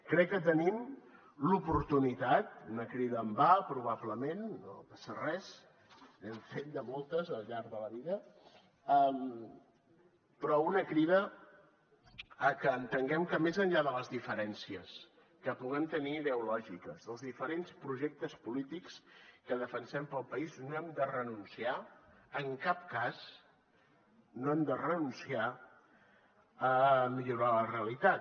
crec que tenim l’oportunitat una crida en va probablement no passa res n’hem fet moltes al llarg de la vida però una crida a que entenguem que més enllà de les diferències que puguem tenir ideològiques dels diferents projectes polítics que defensem per al país no hem de renunciar en cap cas no hem de renunciar a millorar la realitat